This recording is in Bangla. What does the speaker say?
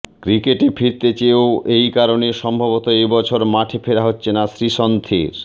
ক্রিকেটে ফিরতে চেয়েও এই কারণে সম্ভবত এবছর মাঠে ফেরা হচ্ছে না শ্রীসন্থের